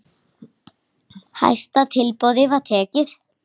Hæsta tilboði var tekið.